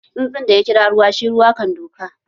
Tsuntsun da ya kira ruwa, shi ruwa kan duka!